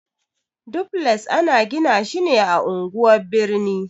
Dufles ana gina shi ne a unguwan birni.